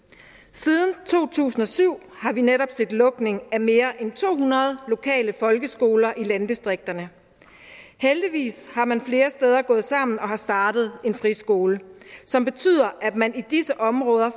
siden to tusind og syv har vi netop set lukning af mere end to hundrede lokale folkeskoler i landdistrikterne heldigvis er man flere steder gået sammen og har startet en friskole som betyder at man i disse områder